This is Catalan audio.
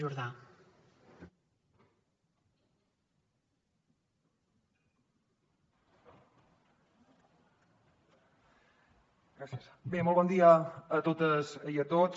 bé molt bon dia a totes i a tots